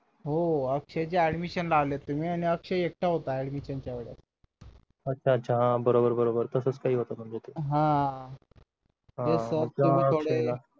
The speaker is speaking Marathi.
हो अक्षय admision ला आलो होतो मी आणि अक्षय एकटा होता admision च्या वेळेस अच्छा अच्छा हा बरोबर बरोबर तसंच काहीतरी होतं म्हणजे ते हा